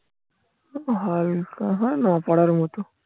হালকা হয় না পড়ার মতো.